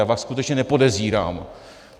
Já vás skutečně nepodezírám.